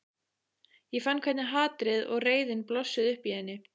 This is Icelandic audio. Ég fann hvernig hatrið og reiðin blossuðu upp í henni.